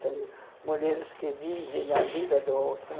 Tem mulheres que vivem a vida do outro.